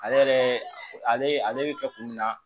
Ale yɛrɛ ale bɛ kɛ kun jumɛn na